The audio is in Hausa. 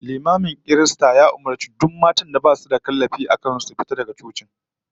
Limamin kiristan ya umurci duk matan da basu da kallabi a kan su da su fita daga majami'ar